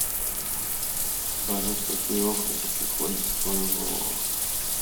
салют какие образы приходят в твою голову